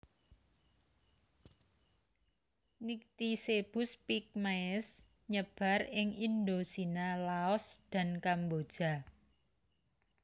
Nycticebus pygmaeus nyebar ing Indocina Laos dan Kamboja